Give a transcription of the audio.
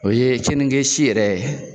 O ye kenige si yɛrɛ ye.